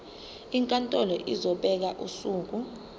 inkantolo izobeka usuku